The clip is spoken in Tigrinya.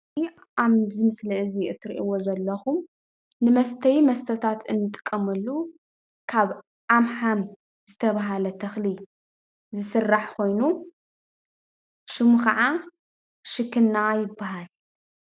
አዚ ኣብ ምስሊ እዚ እትሪእዎ ዘለኹም ንመስተዪ መስተታት እንጥቀመሉ ካብ ዓምሓም ዝተባህለ ተኽሊ ዝስራሕ ኾይኑ ሽሙ ከዓ ሽክና ይባሃል፡፡